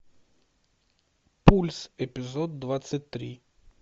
пульс эпизод двадцать три